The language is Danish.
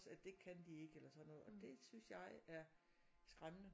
Så det kan de ikke eller sådan noget og det synes jeg er skræmmende